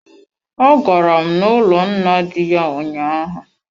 A garam n'ụlọ nna di ya ụnyaahụ.